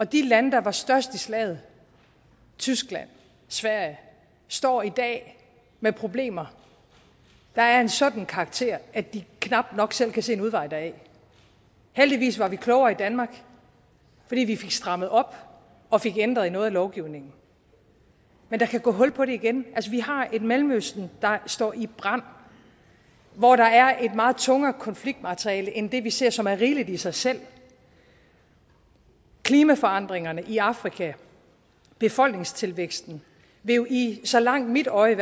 de lande der var størst i slaget tyskland sverige står i dag med problemer der er af en sådan karakter at de knap nok selv kan se en udvej heldigvis var vi klogere i danmark fordi vi fik strammet op og fik ændret i noget af lovgivningen men der kan gå hul på det igen vi har et mellemøsten der står i brand og hvor der er et meget tungere konfliktmateriale end det vi ser og som er rimeligt i sig selv klimaforandringerne i afrika befolkningstilvæksten vil jo i hvert så langt mit øje